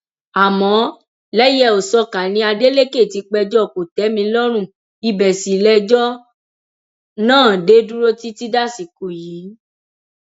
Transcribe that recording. àmọ lẹyẹòṣọká ni adeleke ti péjọ kòtẹmílọrùn ibẹ sì lejò náà dé dúró títí dasìkò yìí